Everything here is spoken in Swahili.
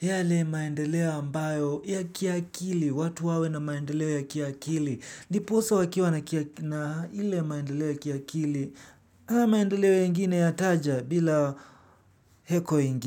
Yale maendeleo ambayo ya kiakili, watu wawe na maendeleo ya kiakili. Ndiposa wakiwa na kia na ile maendeleo ya kiakili haya maendeleo yengine yataja bila heko ingine.